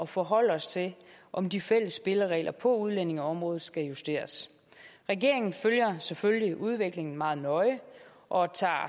forholde os til om de fælles spilleregler på udlændingeområdet skal justeres regeringen følger selvfølgelig udviklingen meget nøje og tager